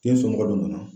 Den sɔngɔ don na